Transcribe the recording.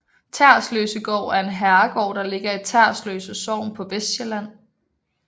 Tersløsegård er en herregård der ligger i Tersløse Sogn på Vestsjælland